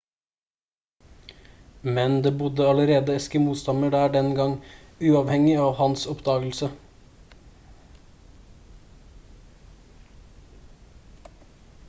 men det bodde allerede eskimo-stammer der den gang uavhengig av hans oppdagelse